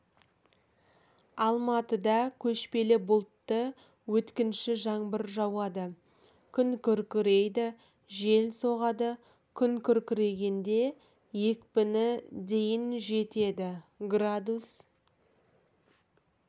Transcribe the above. алматыда көшпелі бұлтты өткінші жаңбыр жауады күн күркірейді жел соғады күн күркірегенде екпіні дейін жетеді градус